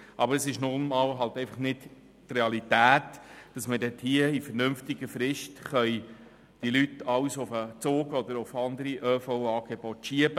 Aber es ist nun einfach nicht realistisch, die Bevölkerung in vernünftiger Frist auf den Zug oder zu anderen ÖV-Angeboten hin zu verschieben.